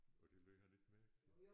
Og det lagde han ikke mærke til?